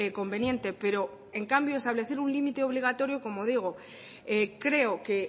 conveniente pero en cambio establecer un límite obligatorio como digo creo que